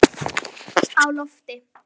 Á lofti